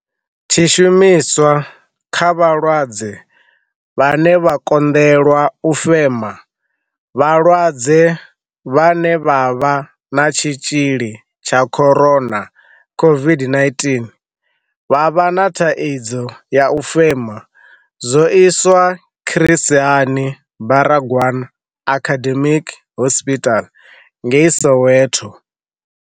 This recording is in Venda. Tshi shumiswa kha vhalwadze vhane vha konḓelwa u fema. Vhalwadze vhane vha vha na tshitzhili tsha co-rona, COVID-19 vha vha na thaidzo ya u fema. Zwo iswa Chris Hani Baragwanath Academic Hospital ngei Soweto.